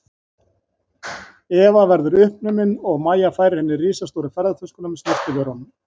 Eva verðu uppnumin og Mæja færir henni risastóru ferðatöskuna með snyrtivörunum.